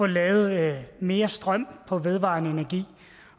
lavet mere strøm fra vedvarende energi